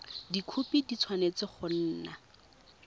dikhopi di tshwanetse go nna